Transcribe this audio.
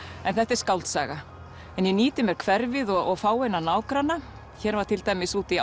en þetta er skáldsaga en ég nýti mér hverfið og fáeina nágranna hér var til dæmis úti í